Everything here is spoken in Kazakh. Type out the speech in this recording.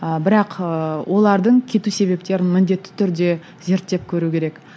ы бірақ ы олардың кету себептерін міндетті түрде зерттеп көру керек